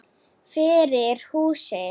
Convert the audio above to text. Fyrir húsið.